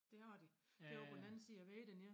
Det har de det over på den anden side af vejen dernede